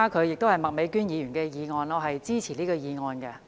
這是麥美娟議員提出的議案，我是支持這項議案的。